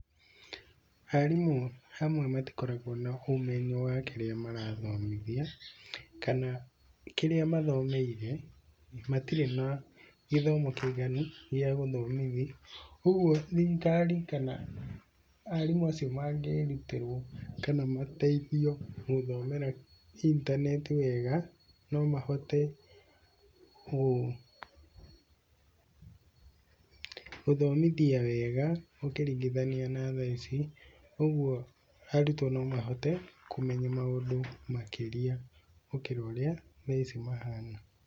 Arimu amwe matikoragwo na ũmenyo wa kĩrĩa marathomithia, kana kĩrĩa mathomeire matirĩ na gĩthomo kĩiganu gia gũthomithjia. Ũguo thirikari kana arimũ acio mangĩrutĩrwo, kana mateithio gũthomera intaneti wega no mahote gũthomithia wega ũkiringithania na thaa ici. Ũguo arutwo no mahote kũmenya maũndũ makĩria gũkĩra ũrĩa thaa ici mahana.